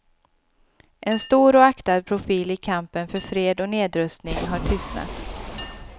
En stor och aktad profil i kampen för fred och nedrustning har tystnat.